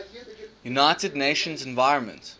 united nations environment